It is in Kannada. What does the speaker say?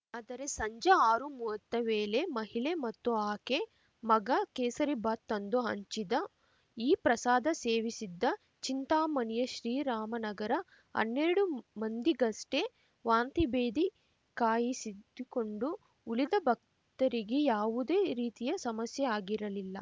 ಆದರೆ ಸಂಜೆ ಆರುಮುವತ್ತ ವೇಳೆ ಮಹಿಳೆ ಮತ್ತು ಆಕೆ ಮಗ ಕೇಸರಿಬಾತ್‌ ತಂದು ಹಂಚಿದ ಈ ಪ್ರಸಾದ ಸೇವಿಸಿದ್ದ ಚಿಂತಾಮಣಿಯ ಶ್ರೀರಾಮನಗರ ಹನ್ನೆರಡು ಮಂದಿಗಷ್ಟೇ ವಾಂತಿಭೇದಿ ಕಾಯಿಸಿದ್ದುಕೊಂಡು ಉಳಿದ ಭಕ್ತರಿಗೆ ಯಾವುದೇ ರೀತಿಯ ಸಮಸ್ಯೆಆಗಿರಲಿಲ್ಲ